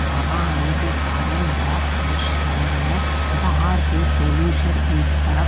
हवा आने के कारण बोहोत फ्रेश हेयर है। बाहर के पॉल्यूशन इस तरफ --